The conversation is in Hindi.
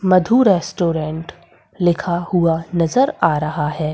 मधु रेस्टोरेंट लिखा हुआ नज़र आ रहा है।